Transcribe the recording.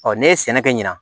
ne ye sɛnɛ kɛ ɲina